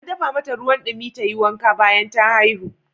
An dafa mata ruwan dimin domin ta yi wanka bayan ta haihu.